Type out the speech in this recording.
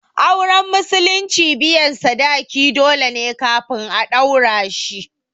Auren musulunci biyan sadaki dole ne kafin a ɗaura shi